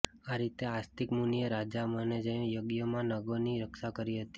આરીતે આસ્તિક મુનિએ રાજા જનમેજયના યજ્ઞમાં નાગોની રક્ષા કરી હતી